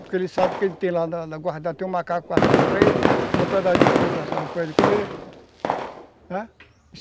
Porque ele sabe que tem lá na na guarda, tem um macaco assado para ele, tem um pedaço de porco assado para ele comer, né?